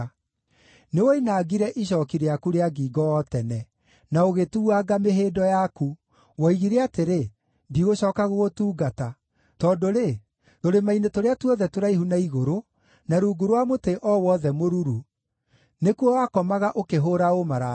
“Nĩwoinangire icooki rĩaku rĩa ngingo o tene, na ũgĩtuuanga mĩhĩndo yaku; woigire atĩrĩ, ‘Ndigũcooka gũgũtungata!’ Tondũ-rĩ, tũrĩma-inĩ tũrĩa tuothe tũraihu na igũrũ, na rungu rwa mũtĩ o wothe mũruru nĩkuo wakomaga ũkĩhũũra ũmaraya.